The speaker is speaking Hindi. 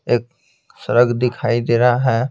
एक सड़क दिखाई दे रहा है।